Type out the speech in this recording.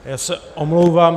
Já se omlouvám.